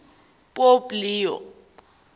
pope leo